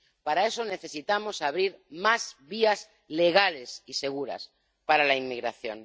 Para eso necesitamos abrir más vías legales y seguras para la inmigración.